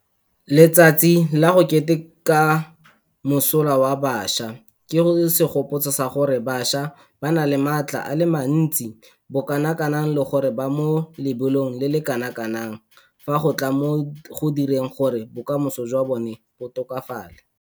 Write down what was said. Letsatsi la go Keteka Mosola wa Bašwa ke segopotso sa gore bašwa ba na le maatla a le mantsi bokanakang le gore ba mo lebelong le le kanakang fa go tla mo go direng gore bokamoso jwa bona bo tokafale.